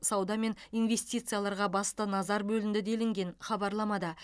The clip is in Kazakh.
сауда мен инвестицияларға басты назар бөлінді делінген хабарламада